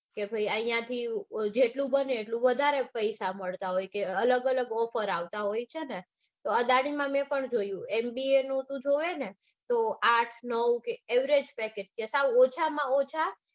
કે ભાઈ ઐયાથી જેટલું બને એટલું વધારે પૈસા મળતા હોય કે અલગ અલગ offers હોય છે ને. તો અદાનીમાં મેં પણ જોયું. mba નું તું જોવે ને તો આઠ નવ averegepeckage ઓછામાં ઓછા